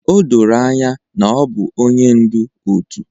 O doro anya na ọ bụ onye ndu òtù